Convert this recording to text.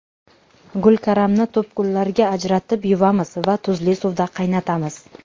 Gulkaramni to‘pgullarga ajratib, yuvamiz va tuzli suvda qaynatamiz.